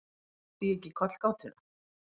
Átti ég ekki kollgátuna?